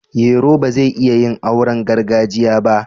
Yero ba zai iya yin auren gargajiya ba